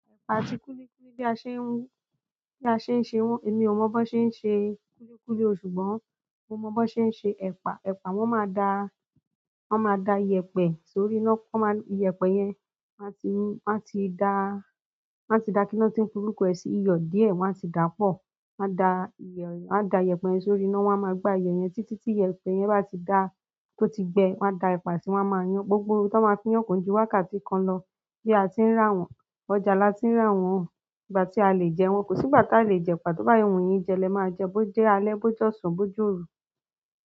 Ẹ̀pà àti kúlíkúlí bí a ṣe ń ún, bí a ṣe ń ṣe wọ́n, èmi ò mọ bó ṣe ń ṣe kúlíkúlí o ṣùgbọ́n mo mọ bó ṣe ń ṣe ẹ̀pà. Ẹ̀pà wọ́n máa da, wọ́n máa da ìyẹ̀pẹ̀ sórí iná, wọ́n máa ìyẹ̀pẹ̀ yẹn má tí ń, má tí dá, má tí da kí ló tí ń pe orúkọ ẹ sì iyọ̀ díẹ̀ wọ́n má tí dà pọ̀. Wọ́n dá ìyẹ̀, wọ́n dá ìyẹ̀pẹ̀ sọrí iná wọ́n a máa gbá iyẹ̀ yẹn títí tí iyẹ̀pẹ̀ yẹn bá ti dá tó ti gbẹ wọ́n máa da ẹ̀pà sí i wọ́n a máa yan gbogbo rú tó máa fi í yànkón ju wákàtí kan lọ. Bí a ti ń rà wọ́n, ọjà la ti ń rà wọ́n, ìgbà tí a lè jẹ́ wọn kò sí ìgbà tí a lè jẹ ẹ̀pà, tó bá yé òun yìí jẹ́ lẹ máa jẹ́ bó jẹ́ alẹ́, bó jọ̀sàn, bó joru.